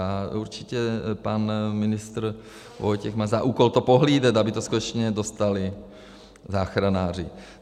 Já určitě, pan ministr Vojtěch má za úkol to pohlídat, aby to skutečně dostali záchranáři.